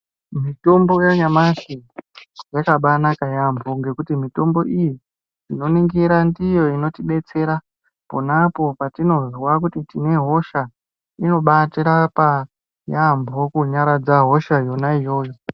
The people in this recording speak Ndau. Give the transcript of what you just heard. Mitombo yanyamashi yakabanaka yaamho ngekuti mitombo iyi, tinoningira ndiyo inotidetsera ponapo patinozwa kuti tinehosha, inobatirapa yaamho kunyaradza hosha yona iyoyo.